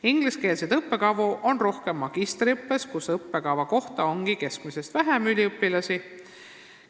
Ingliskeelseid õppekavu on rohkem magistriõppes, kus ongi keskmisest vähem üliõpilasi õppekava kohta.